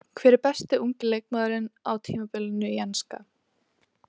Hver er besti ungi leikmaðurinn á tímabilinu í enska?